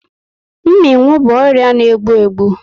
Mminwu bụ ọrịa na egbu egbu